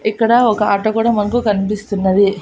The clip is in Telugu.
ఇక్కడ ఒక ఆటో కూడా మనకు కనిపిస్తున్నది.